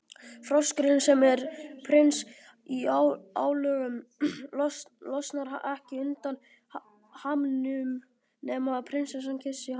Froskurinn, sem er prins í álögum, losnar ekki undan hamnum nema prinsessa kyssi hann.